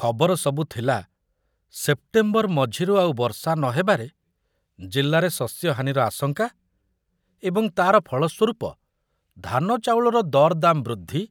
ଖବର ସବୁ ଥିଲା ସେପ୍ଟେମ୍ବର ମଝିରୁ ଆଉ ବର୍ଷା ନ ହେବାରେ ଜିଲ୍ଲାରେ ଶସ୍ୟହାନିର ଆଶଙ୍କା ଏବଂ ତାର ଫଳ ସ୍ୱରୂପ ଧାନଚାଉଳର ଦରଦାମ ବୃଦ୍ଧି